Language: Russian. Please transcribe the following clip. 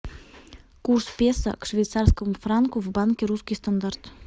курс песо к швейцарскому франку в банке русский стандарт